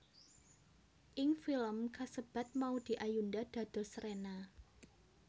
Ing film kasebat Maudy Ayunda dados Rena